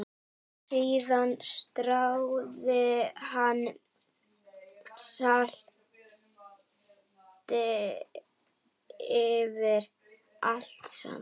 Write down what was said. Síðan stráði hún salti yfir allt saman.